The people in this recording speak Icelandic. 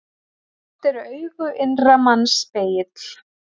Oft eru augu innra manns spegill.